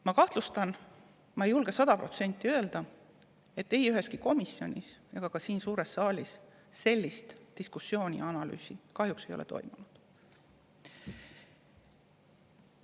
Ma kahtlustan – ehkki ma ei julge seda sada protsenti öelda –, et ei üheski komisjonis ega ka siin suures saalis sellist diskussiooni kahjuks ei ole toimunud ja sellekohast analüüsi pole tehtud.